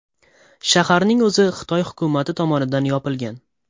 Shaharning o‘zi Xitoy hukumati tomonidan yopilgan.